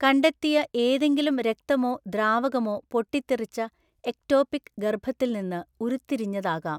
കണ്ടെത്തിയ ഏതെങ്കിലും രക്തമോ ദ്രാവകമോ പൊട്ടിത്തെറിച്ച എക്ടോപിക് ഗർഭത്തിൽ നിന്ന് ഉരുത്തിരിഞ്ഞതാകാം.